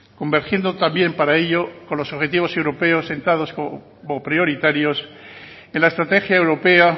convergiendo también para ello con los objetivos europeos sentados como prioritarios en la estrategia europea